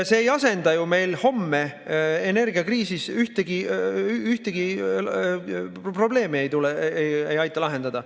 See ei aita ju meil homme energiakriisis ühtegi probleemi lahendada.